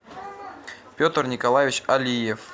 петр николаевич алиев